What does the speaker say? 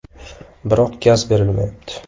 Biroq gaz berilmayapti.